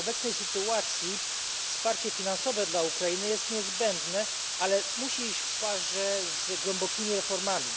W obecnej sytuacji wsparcie finansowe dla Ukrainy jest niezbędne, ale musi iść w parze z głębokimi reformami.